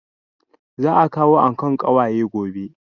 Za a kawo ankon ƙawaye gobe